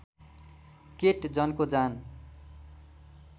केट जनको जान